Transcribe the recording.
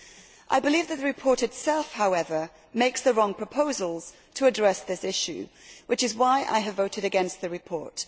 However, I believe that the report itself makes the wrong proposals to address this issue, which is why I have voted against the report.